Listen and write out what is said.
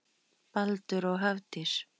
Baldur og Hafdís.